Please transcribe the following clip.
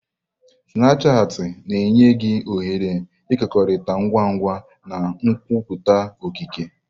Snapushati na-enye gị ohere ịkekọrịta ngwa ngwa na nkwupụta okike.